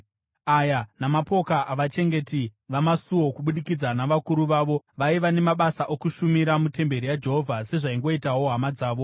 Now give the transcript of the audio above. Aya mapoka avachengeti vamasuo, kubudikidza navakuru vavo, vaiva nemabasa okushumira mutemberi yaJehovha, sezvaingoitawo hama dzavo.